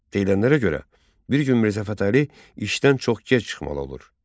Edilənlərə görə, bir gün Mirzə Fətəli işdən çox gec çıxmalı olur.